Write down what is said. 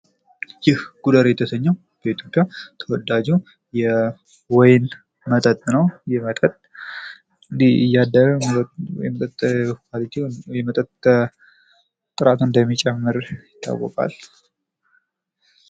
ይህ ጉዳይ የተሰኘው በኢትዮጵያ ተወዳጅ የወይን መጠጥ ነው። ይህ መጠጥ እያደረ የመጠጥ ኳሊቲው ወይም ጥራቱ እንደሚጨምር ይታወቃል።